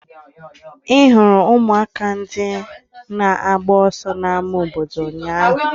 Ị hụrụ ụmụaka ndị na-agba ọsọ n'ámá obodo ụnyaahụ?